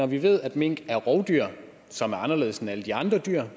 vi ved at mink er rovdyr som er anderledes end alle de andre dyr